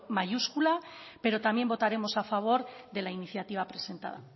mayúsculo pero también votaremos a favor de la iniciativa presentada